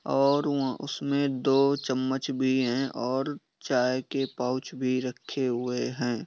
और उ उसमे दो चमच भी हैं और चाय के पाउच भी रखे हुए हैं।